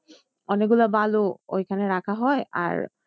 অনেক গুলা বালু ওইখানে রাখা হয় আর